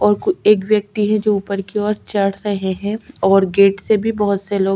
और वो एक व्यक्ति हैं जो ऊपर की ओर चढ़ रहे है और गेट से भी बहोत से लोग --